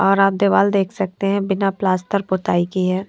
और आप दीवार देख सकते हैं बिना प्लास्टर पुताई के हैं।